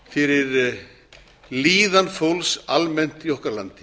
fyrir líðan fólks almennt í okkar landi